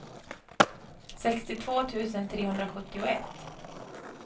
sextiotvå tusen trehundrasjuttioett